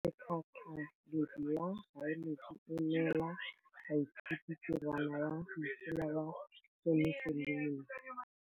Motlhatlhaledi wa baeloji o neela baithuti tirwana ya mosola wa peniselene.